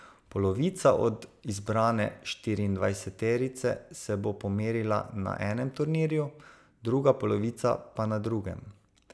Polovica od izbrane štiriindvajseterice se bo pomerila na enem turnirju, druga polovica pa na drugem.